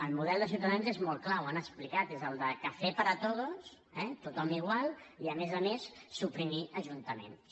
el model de ciutadans és molt clar ho han explicat és el de café para todos eh tothom igual i a més a més suprimir ajuntaments